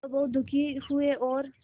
वह बहुत दुखी हुए और